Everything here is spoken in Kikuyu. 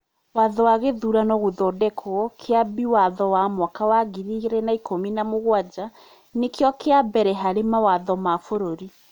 Watho wa gĩthurano (Gũthondekwo) kĩambi watho wa mwaka wa ngiri igĩrĩ na ikũmi na mũgwanja nĩkio kĩa mbere harĩ mawatho ma bũrũri.